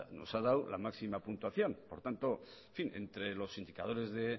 nos ha dado la máxima puntuación por tanto en fin entre los indicadores de